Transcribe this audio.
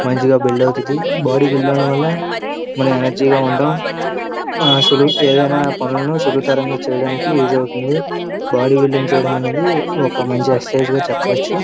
మంచిగా బిల్డ్ అవుతుది body build అవడం వల్ల మనము ఎనర్జీ గా ఉంటాము ఆ సులువు ఏదైన పనులను సులువు తరంగా చేయడానికి యూస్ అవుతుంది బాడీ బిల్డింగ్ అనేది ఒక మంచి ఎక్సర్సైజ్ గా చెప్పవచ్చు.